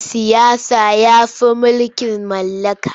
Mulkin siyasa ya fi mulkin mallaka.